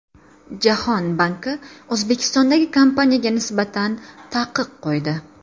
Jahon banki O‘zbekistondagi kompaniyaga nisbatan taqiq qo‘ydi.